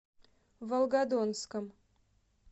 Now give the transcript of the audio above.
волгодонском